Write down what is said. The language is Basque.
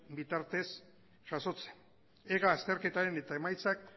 bitartez jasotzen ega azterketaren emaitzak